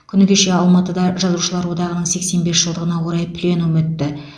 күні кеше алматыда жазушылар одағының сексен бес жылдығына орай пленум өтті